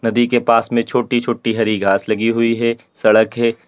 नदी के पास में छोटी छोटी हरी घास लगी हुई है। सड़क है।